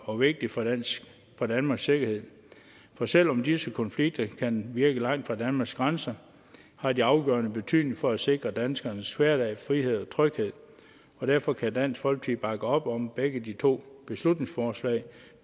og vigtigt for for danmarks sikkerhed for selv om disse konflikter kan virke langt fra danmarks grænser har de afgørende betydning for at sikre danskernes hverdag frihed og tryghed derfor kan dansk folkeparti bakke op om begge de to beslutningsforslag